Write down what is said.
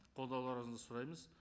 қолдауларыңызды сұраймыз